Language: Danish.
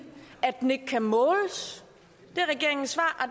at den ikke kan måles regeringens svar